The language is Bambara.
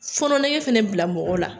Fɔnɔn nege fɛnɛ bila mɔgɔ la.